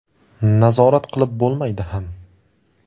Nazorat qilib bo‘lmaydi ham.